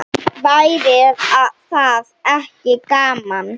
Væri það ekki gaman?